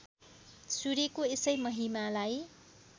सूर्यको यसै महिमालाई